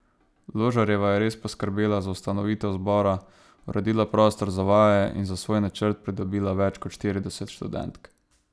Ložarjeva je res poskrbela za ustanovitev zbora, uredila prostor za vaje in za svoj načrt pridobila več kot štirideset študentk.